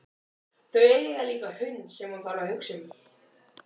Þau eiga líka hund sem hún þarf að hugsa um.